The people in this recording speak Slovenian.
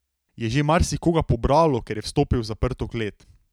Je že marsikoga pobralo, ker je vstopil v zaprto klet.